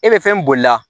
E bɛ fɛn boli la